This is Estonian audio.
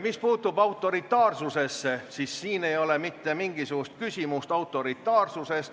Mis puutub autoritaarsusesse, siis siin ei ole mitte mingisugust küsimust autoritaarsuses.